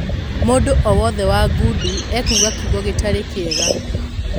Mũndũ o-wothe wa ngundi ekuga kiugo gĩtari kĩega.